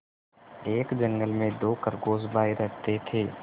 एक जंगल में दो खरगोश भाई रहते थे